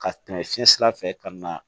Ka tɛmɛ fiɲɛ sira fɛ ka na